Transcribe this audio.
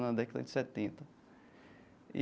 Na década de setenta e.